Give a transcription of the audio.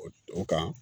O kan